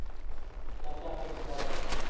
ਚੱਲ ਚਾਚੇ ਨੂੰ ਫੜਾ ਦਿਆ ਕਰ